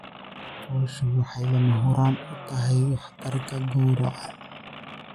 Fooshu waxay lama huraan u tahay waxtarka gowraca.